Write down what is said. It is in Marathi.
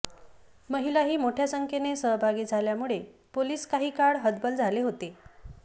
महिलाही मोठ्या संख्येने सहभागी झाल्यामुळे पोलिस काही काळ हतबल झाले होते